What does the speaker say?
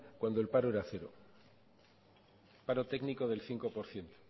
cuando el paro era cero el paro técnico del cinco por ciento